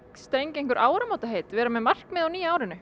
strengja áramótaheit vera með markmið á nýja árinu